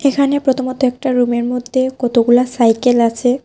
এখানে প্রথমত একটা রুমের মধ্যে কতগুলা সাইকেল আছে।